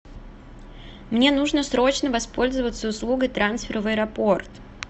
мне нужно срочно воспользоваться услугой трансфера в аэропорт